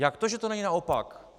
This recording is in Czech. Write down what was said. Jak to, že to není naopak?